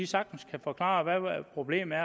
sagtens kan forklare hvad problemet